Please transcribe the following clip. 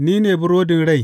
Ni ne burodin rai.